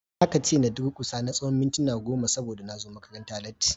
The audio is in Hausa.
Aka ce in durkusa na tsawon mintuna goma saboda na zo makaranta latti.